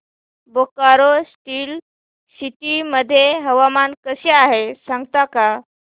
Bokaro steel city मध्ये हवामान कसे आहे सांगता का